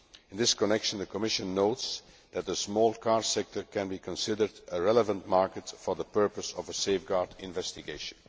In this connection, the Commission notes that the small car sector can be considered a relevant market for the purpose of a safeguard investigation.